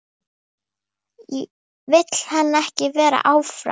Vill hann ekki vera áfram?